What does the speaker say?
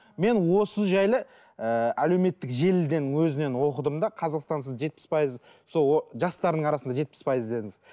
мен осы жайлы ыыы әлеуметтік желіден өзінен оқыдым да қазақстансыз жетпіс пайыз жастардың арасында жетпіс пайыз дедіңіз